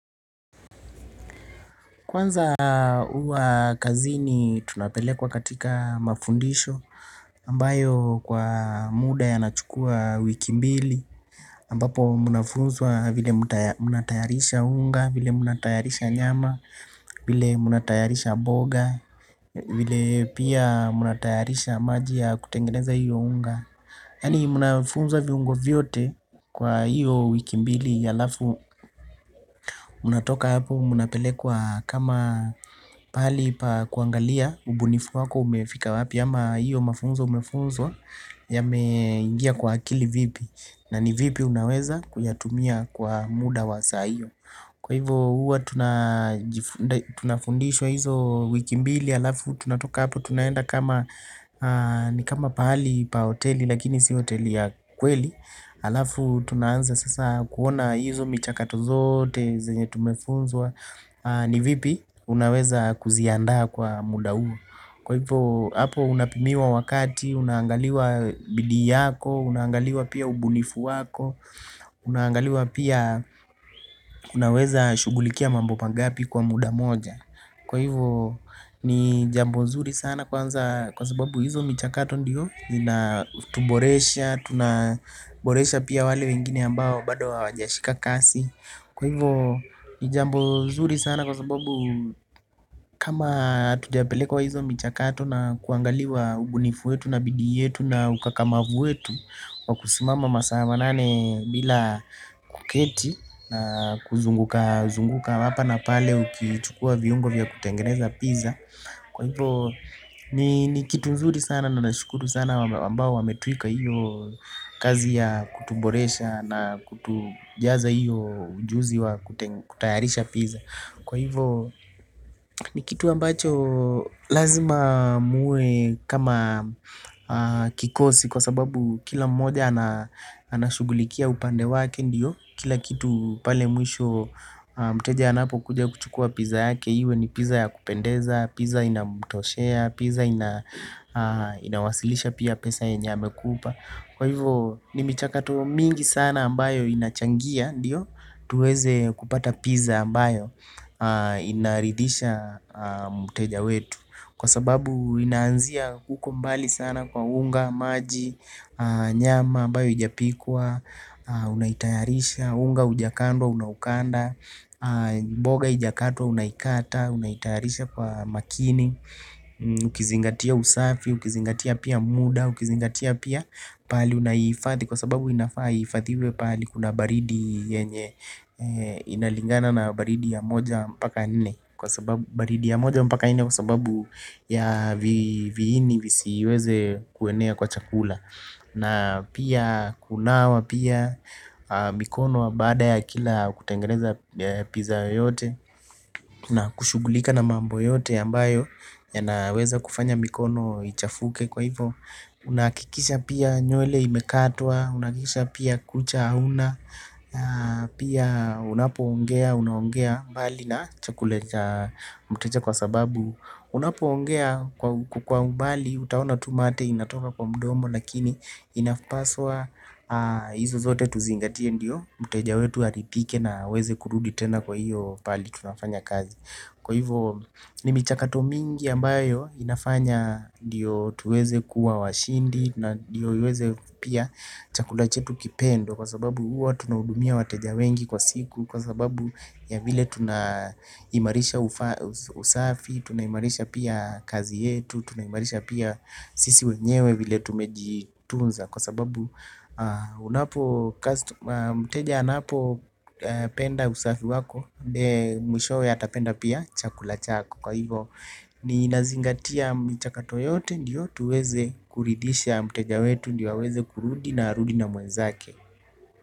Kwanza uwa kazini tunapelekwa katika mafundisho ambayo kwa muda ya nachukua wiki mbili ambapo munafunzwa vile munatayarisha unga, vile munatayarisha nyama, vile munatayarisha mboga. Vile pia munatayarisha maji ya kutengeneza hiyo unga. Yani munafunza viungo vyote kwa hiyo wiki mbili alafu unatoka hapo munapelekwa kama pahali pa kuangalia ubunifu wako umefika wapi ama hiyo mafunzo umefunzwa ya meingia kwa akili vipi na ni vipi unaweza kuyatumia kwa muda wasa hiyo. Kwa hivyo huwa tunafundishwa hizo wiki mbili alafu tunatoka hapo tunaenda kama ni kama pahali pa hoteli lakini si hoteli ya kweli. Alafu tunaanza sasa kuona hizo michakato zote zenye tumefunzwa ni vipi unaweza kuziandaa kwa muda huu. Kwa hivyo, hapo unapimiwa wakati, unangaliwa bidii yako, unangaliwa pia ubunifu wako, unangaliwa pia unaweza shugulikia mambo mangapi kwa muda moja. Kwa hivyo, ni jambo zuri sana kwa sababu hizo michakato ndiyo, zina tuboresha, tunaboresha pia wale wengine ambao bado wa wajashika kasi. Kwa hivyo ni jambo zuri sana kwa sababu kama atujapelekwa hizo michakato na kuangaliwa ubunifuwetu na bidiyetu na ukakamavuwetu. Wakusimama masa wanane bila kuketi na kuzunguka zunguka wapa na pale uki chukua viungo vya kutengeneza pizza. Kwa hivyo ni kitu mzuri sana na nashukuru sana wambao wa metueka hiyo kazi ya kutuboresha na kutujaza hiyo ujuzi wa kutayarisha pizza. Kwa hivyo ni kitu ambacho lazima muwe kama kikosi kwa sababu kila mmoja anashugulikia upandewake ndiyo. Kila kitu pale mwisho mteja anapo kuja kuchukua piza yake. Iwe ni piza ya kupendeza, piza inamto shea, piza inawasilisha pia pesa ya nyenye ame kupa. Kwa hivyo ni michakato mingi sana ambayo inachangia, ndiyo tuweze kupata piza ambayo inaridisha mteja wetu. Kwa sababu inaanzia huko mbali sana kwa unga, maji, nyama, ambayo ijapikwa unaitayarisha, unga ujakandwa, unaukanda mboga ijakatwa, unaitayarisha kwa makini ukizingatia usafi, ukizingatia pia muda ukizingatia pia pali unaifadhi kwa sababu inafaa ifadhiwe pahali kuna baridi yenye inalingana na baridi ya moja mpaka nne kwa sababu baridi ya moja mpaka nne kwa sababu ya vihini visiweze kuenea kwa chakula. Na pia kunawa pia mikono baada ya kila kutengeneza piza yote. Na kushugulika na mambo yote yambayo ya naweza kufanya mikono ichafuke kwa hivo. Unakikisha pia nywele imekatwa, unakikisha pia kucha auna. Pia unapo ongea, unaongea mbali na chakula cha mteja kwa sababu unapoongea kwa umbali utaona mate inatoka kwa mdomo lakini inapaswa hizo zote tuzingatie ndio mteja wetu alizike na aweze kurudi tena kwahio pahali penye tunafanya kazi kwa hivo nimichakato mingi ambayo inafanya ndiyo tuweze kuwa washindi. Na ndiyo uweze pia chakulachetu kipendwe. Kwa sababu uwa tunaudumia wateja wengi kwa siku. Kwa sababu ya vile tunayimarisha usafi. Tunahimarisha pia kazi yetu. Tunaimalisha pia sisi wenyewe vile tumejitunza. Kwa sababu mteja anapo penda usafi wako. Mwishowe atapenda pia chakula chako. Kwa hivo ni nazingatia mchaka toyote. Ndiyotu weze kuridisha mteja wetu ndiyotu weze kurudi na arudi na mwenzake.